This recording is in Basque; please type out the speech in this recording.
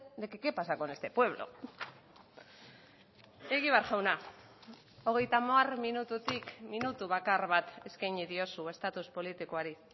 de que qué pasa con este pueblo egibar jauna hogeita hamar minututik minutu bakar bat eskaini diozu estatus politikoari